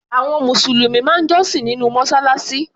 Àwọn Mùsùlùmí máa ń jọ́sìn nínú Mọ́ṣáláṣí.